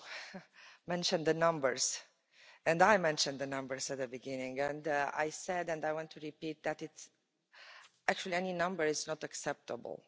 of you mentioned the numbers, and I mentioned the numbers at the beginning, and I said and I want to repeat that actually any number is not acceptable.